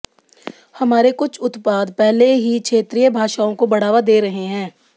हमारे कुछ उत्पाद पहले ही क्षेत्रीय भाषाओं को बढ़ावा दे रहे हैं